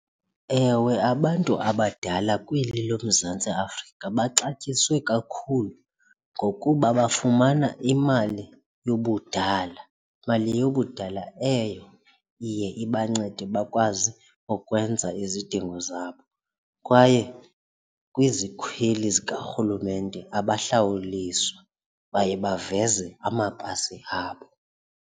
Ewe, abantu abadala kweli loMzantsi Afrika baxatyisiwe kakhulu ngokuba bafumana imali yobudala mali yobudala eyo iye ibancede bakwazi ukwenza izidingo zabo. Kwaye kwizikhweli zikarhulumente abahlawuliswa baye baveze amapasi abo.